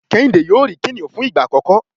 Kehinde yóò ri kiniun fun igba akọkọ